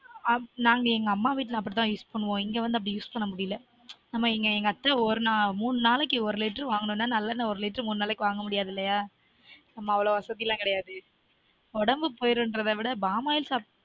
நாங்க எங்க அம்மா வீட்டுல அப்டி தான் use பண்ணுவொம் இங்க வந்து அப்டி use பண்ண முடியல நம்ம எங்க இங்க அத்த ஒரு மூனு நாளைக்கு ஒரு litre வாங்கனும் நா நல்ல எண்ண ஒரு litre மூனு நாளைக்கு வாங்க முடியாது இல்லயா நம்ம அவ்வளவு வசதி எல்லான் கிடையாது உடம்பு போய்டும் ட்ரதவிட பாமாயில் சாப்டா